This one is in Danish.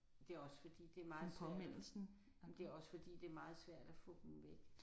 Det er også fordi det er meget svært. Jamen det er også fordi det er meget svært at få dem væk